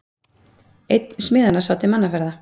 Einn smiðanna sá til mannaferða.